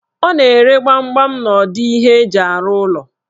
Ọ na-ere gbamgbam n'odo ihe eji arụ ụlọ?